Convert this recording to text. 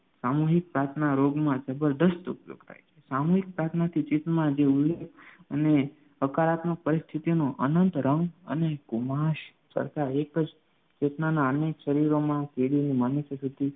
સામુહિક પ્રાર્થના રોગમાં જબરદસ્ત ઉપયોગ થાય છે સામુહિક પ્રાર્થનાથી ચિત્તમાં જે ઉર્જા અને હકારાત્મક પરિસ્થિતિમાં અનંત રમ અને કુમાશ સર્જતા એક જ ચેતનાના શરીરોમાં થાય